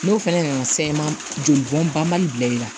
N'o fana nana joli bɔn banbali bila i la